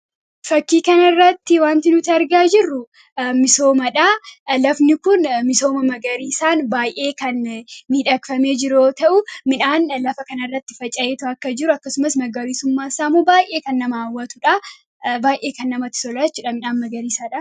Fakkii kana irratti wanti nuti argaa jirru misoomadha. Lafni kun misooma magariisaan baay'ee kan miidhagfamee jiru yoo ta'u, midhaan lafa kanarratti faca'eetoo akka jiru akkasumas magariisummaa isaammoo baay'ee kan nama hawwatuu dha. Baay'ee kan namatti toluudha jechuudha midhaan magariisa dha.